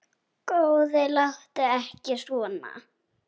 Góði, láttu ekki svona.